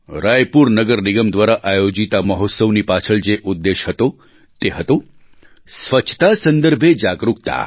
રાયપુર નગર નિગમ દ્વારા આયોજિત આ મહોત્સવની પાછળ જે ઉદ્દેશ્ય હતો તે હતો સ્વચ્છતા સંદર્ભે જાગરુકતા